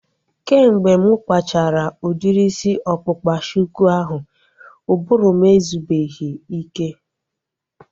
Kemgbe mụ kpachara udiri isi ọkpụkpa shuku ahu, ụbụrụ m ezubeghi ike